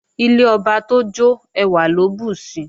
Ilé ọba tójó ẹwà ló bùsi